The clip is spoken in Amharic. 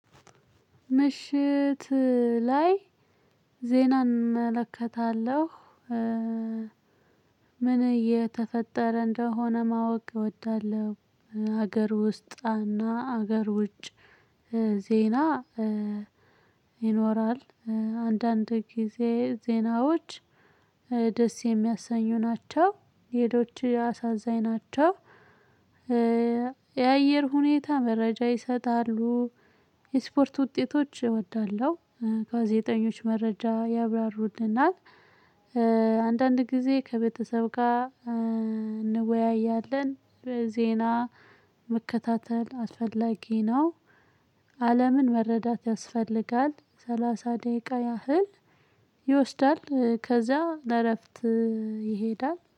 ምሽት ላይ ዜናን እመለከታለሁ። ምን እየተፈጠረ እንደሆነ ማወቅ እወዳለሁ። ሀገር ውስጥ እና ሀገር ውጭ ዜና ይኖራል አንዳንድ ጊዜ ዜናዎች ደስ የሚያሰኙ ናቸው፤ ሌሎች አሳዛኝ ናቸው። የአየር ሁኔታ መረጃ ይሰጣሉ። የስፖርት ውጤቶች እወዳለሁ። ጋዜጠኞች መረጃ ያብራሩልናል። አንዳንድ ጊዜ ከቤተሰብ ጋር እንወያያለን። ዜና መከታተል አስፈላጊ ነው። አለምን መረዳት ያስፈልጋል። ሰላሳ ደቂቃ ያህል ይወስዳል፤ ከዛ ለእረፍት ይሄዳል።